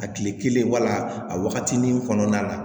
A kile kelen wala a waagati ni kɔnɔna la